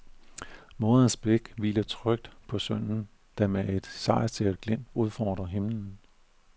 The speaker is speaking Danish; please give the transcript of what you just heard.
Moderens blik hviler trygt på sønnen, der med et sejrsikkert glimt udfordrer himlen.